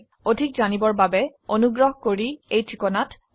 এই বিষয়ে বিস্তাৰিত তথ্যেৰ বাবে contactspoken tutorialorg তে ইমেল কৰক